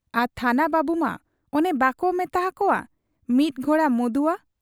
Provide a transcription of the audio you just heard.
ᱟᱨ ᱛᱷᱟᱱᱟ ᱵᱟᱹᱵᱩᱢᱟ ᱚᱱᱮ ᱵᱟᱠᱚ ᱢᱮᱛᱟ ᱦᱟᱠᱚᱣᱟ ᱢᱤᱫ ᱜᱷᱳᱲᱟ ᱢᱚᱫᱩᱣᱟ ᱾